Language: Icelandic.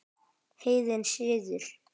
Heiðinn siður